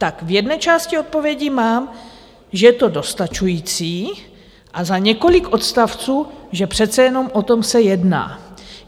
Tak v jedné části odpovědí mám, že je to dostačující, a za několik odstavců, že přece jenom o tom se jedná.